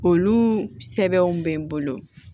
Olu sɛbɛnw bɛ n bolo